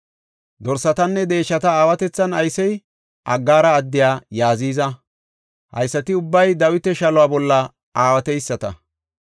Dorsatanne deeshata aawatethan aysey Agara addey Yaziza. Haysati ubbay Dawita shaluwa bolla aawateyisata.